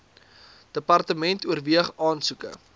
department oorweeg aansoeke